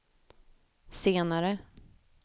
senare